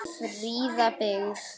Fríða byggð.